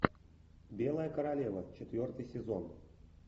белая королева четвертый сезон